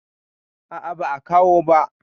A'a ba a kawo ba.